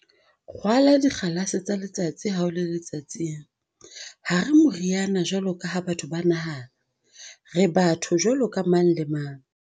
Rwala dikgalase tsa letsatsi ha o le letsatsing."Ha re moriana jwalo ka ha batho ba nahana. Re batho jwaloka mang le mang."